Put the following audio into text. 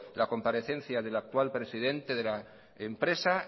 la comparencia del actual presidente de la empresa